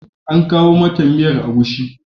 An kawo mata miyar agushi.